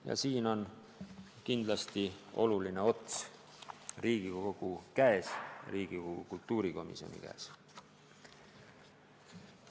Ja siin on kindlasti oluline ots Riigikogu kultuurikomisjoni käes.